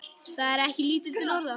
Það er ekki lítil orða!